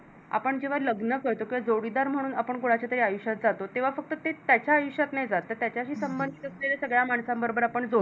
आपण जेव्हा लग्न करतो जोडीदार म्हणून आपण कोणाच्यातरी आयुष्यात जातो तेव्हा ते फक्त त्याच्या आयुष्यात नाही जात त्याच्याशी संबंधित असलेल्या सगळ्या माणसांबरोबर आपण